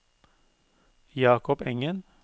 Jakob Engen